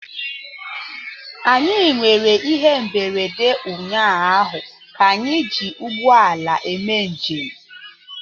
Anyị nwere ihe mberede ụnyaahụ ka anyị ji ụgbọ ala eme njem